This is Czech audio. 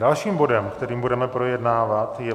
Dalším bodem, který budeme projednávat, je